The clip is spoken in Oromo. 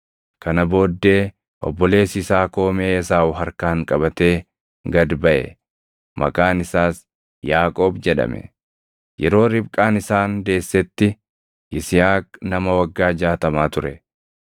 Kana booddee obboleessi isaa koomee Esaawu harkaan qabatee gad baʼe; maqaan isaas Yaaqoob jedhame. Yeroo Ribqaan isaan deessetti, Yisihaaq nama waggaa jaatamaa ture.